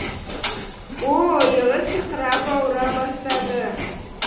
о о иығы сырқырап ауыра бастады